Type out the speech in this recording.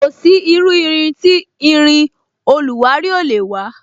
Kò sí iru irin tí irin oluwari ò lè wa